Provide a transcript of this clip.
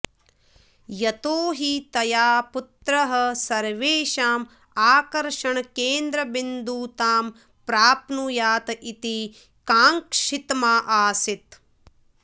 यतो हि तया पुत्रः सर्वेषाम् आकर्षणकेन्द्रबिन्दुतां प्राप्नुयात् इति काङ्क्षितमासीत्